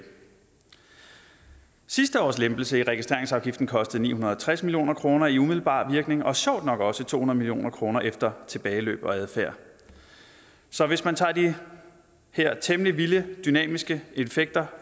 sidste års lempelse af registreringsafgiften kostede ni hundrede og tres million kroner i umiddelbar virkning og sjovt nok også to hundrede million kroner efter tilbageløb og adfærd så hvis man tager de her temmelig vilde dynamiske effekter